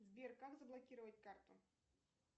сбер как заблокировать карту